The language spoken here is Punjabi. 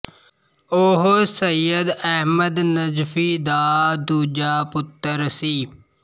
ਉਹ ਸੱਯਦ ਅਹਮਦ ਨਜਫ਼ੀ ਦਾ ਦੂਜਾ ਪੁੱਤਰ ਸੀ